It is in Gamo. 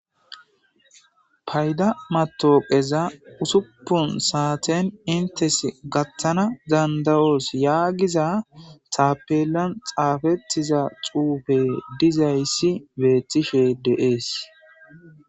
Payidda mattoqaza ussuppun santten inttes gathana danda'osi yagiza tappelan xaffetiza xuffe dizzayisi betishe de'es.